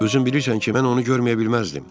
Özün bilirsən ki, mən onu görməyə bilməzdim.